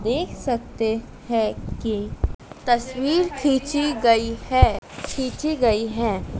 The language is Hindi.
देख सकते हैं कि तस्वीर खींची गई है खींची गई है।